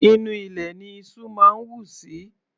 Inú ilẹ̀ ní iṣú máa ń wù sí.